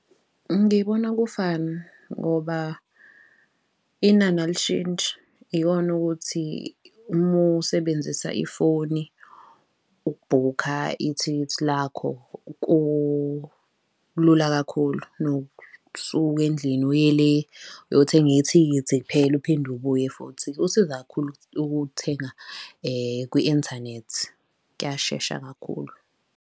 Ngibona kufana ngoba inani alishintshi, ikona ukuthi uma usebenzisa ifoni ukubhukha ithikithi lakho kulula kakhulu kunokusuka endlini uye le uyothenga ithikithi kuphela, uphinde ubuye futhi. Kusiza kakhulu ukulithenga kwi-inthanethi, kuyashesha kakhulu.